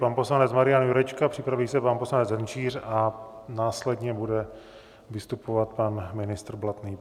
Pan poslanec Marian Jurečka, připraví se pan poslanec Hrnčíř a následně bude vystupovat pan ministr Blatný.